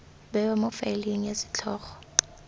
bewa mo faeleng ya setlhogo